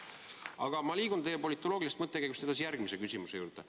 Aga ma liigun teie politoloogilisest mõttekäigust edasi järgmise küsimuse juurde.